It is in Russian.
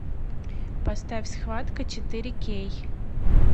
поставь схватка четыре кей